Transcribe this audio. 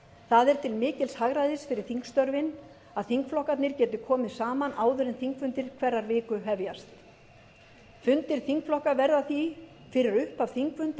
það er til mikils hagræðis fyrir þingstörfin að þingflokkarnir geti komið saman áður en þingfundir hverrar viku hefjast fundir þingflokka verða því fyrir upphaf þingfunda